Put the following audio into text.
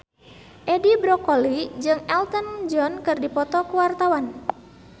Edi Brokoli jeung Elton John keur dipoto ku wartawan